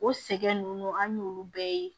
O sɛgɛn nunnu an y'olu bɛɛ ye